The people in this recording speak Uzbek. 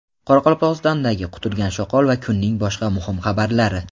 Qoraqalpog‘istondagi quturgan shoqol va kunning boshqa muhim xabarlari.